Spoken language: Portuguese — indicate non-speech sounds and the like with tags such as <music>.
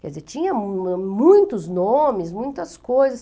Quer dizer, tinha <unintelligible> muitos nomes, muitas coisas.